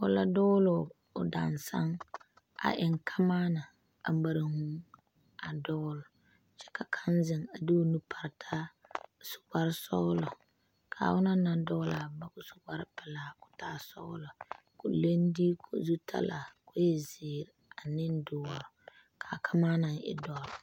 Pɔɔ la dugloo o daŋsane a eŋ kamaana a mare vūū a dugle kyɛ ka kaŋ zeŋ a de o nu pare taa a su kpare sɔglɔ kaa onɔŋ naŋ duglaa boma ko su kpare pelaa koo taa sɔglɔ ko leŋ diiku zutalaa ko e zeɛ aneŋ doɔre ka kamaana e dɔre.